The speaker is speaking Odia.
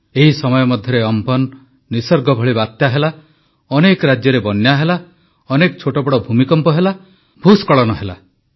ଏହି ସମୟ ମଧ୍ୟରେ ଅମ୍ଫନ୍ ନିଃସର୍ଗ ଭଳି ବାତ୍ୟା ହେଲା ଅନେକ ରାଜ୍ୟରେ ବନ୍ୟା ହେଲା ଅନେକ ଛୋଟବଡ଼ ଭୂମିକମ୍ପ ହେଲା ଭୂସ୍ଖଳନ ହେଲା